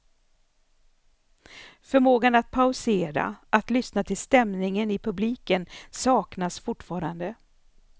Förmågan att pausera, att lyssna till stämningen i publiken saknas fortfarande.